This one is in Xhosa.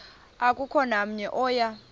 akukho namnye oya